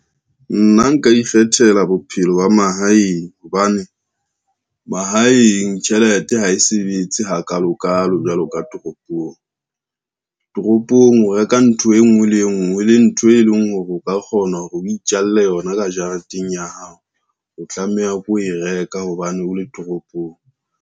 Nna nka ikgethela bophelo ba mahaeng, hobane mahaeng tjhelete ha e sebetse hakalo kalo jwalo ka toropong. Toropong o reka ntho e ngwe le e ngwe le ntho e leng hore o ka kgona hore o itjalle yona ka jareteng ya hao, o tlameha o e reka hobane o le toropong.